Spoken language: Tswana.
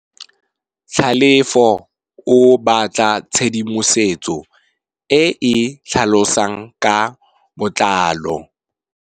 Tlhalefô o batla tshedimosetsô e e tlhalosang ka botlalô.